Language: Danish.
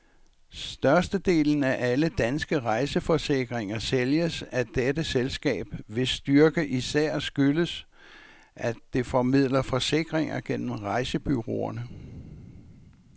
Størstedelen af alle danske rejseforsikringer sælges af dette selskab, hvis styrke især skyldes, at det formidler forsikringer gennem rejsebureauerne.